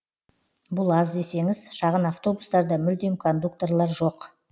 бұл аз десеңіз шағын автобустарда мүлдем кондукторлар жоқ